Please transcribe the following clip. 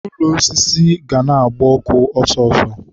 ụlọ osisi ga na-agbakwa ọkụ ọsọ ọsọ